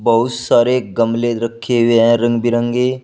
बहुत सारे गमले रखे हुए हैं रंग बिरंगे।